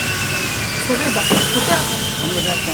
Seveda, buteljka!